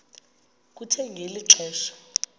kuthe ngeli xesha